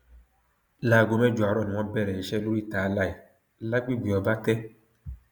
láago mẹjọ àárọ ni wọn bẹrẹ iṣẹ lóríta alie lágbègbè ọbatẹ